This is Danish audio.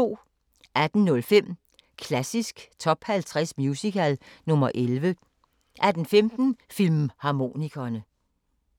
18:05: Klassisk Top 50 Musical – nr. 11 18:15: Filmharmonikerne